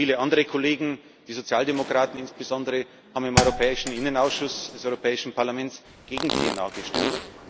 Und viele andere Kollegen, die Sozialdemokraten insbesondere, haben im Innenausschuss des Europäischen Parlaments gegen PNR gestimmt.